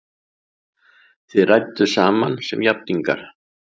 Þið rædduð saman sem jafningjar!